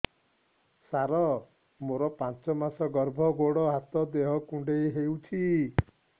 ସାର ମୋର ପାଞ୍ଚ ମାସ ଗର୍ଭ ଗୋଡ ହାତ ଦେହ କୁଣ୍ଡେଇ ହେଉଛି